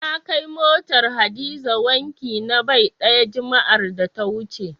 Na kai motar Hadiza wanki na bai ɗaya, juma'ar da ta wuce.